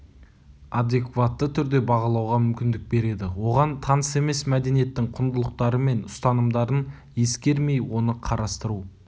адекватты түрде бағалауға мүмкіндік береді оған таныс емес мәдениеттің құндылықтары мен ұстанымдарын ескермей оны қарастыру